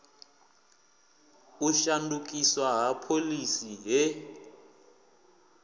u shandukiswa ha phoḽisi he